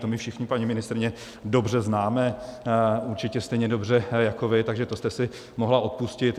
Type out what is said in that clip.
To my všichni, paní ministryně, dobře známe určitě stejně dobře jako vy, takže to jste si mohla odpustit.